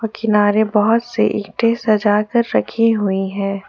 किनारे बहुत सी ईंटे सजा कर रखी हुई हैं।